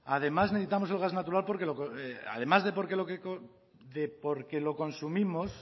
además necesitamos el gas natural además de porque lo consumimos